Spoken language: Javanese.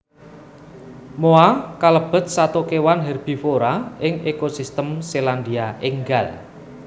Moa kalebet sato kewan herbivora ing ekosistem Selandia Ènggal